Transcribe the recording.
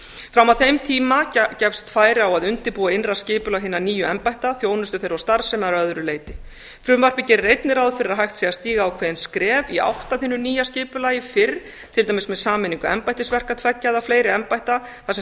fram að þeim tíma gefst færi á að undirbúa innra skipulag hinna nýju embætta þjónustu þeirra og starfsemi að öðru leyti frumvarpið gerir einnig ráð fyrir að hægt sé að stíga ákveðin skref í átt að hinu nýja skipulagi fyrr til dæmis með sameiningu embættisverka tveggja eða fleiri embætta þar sem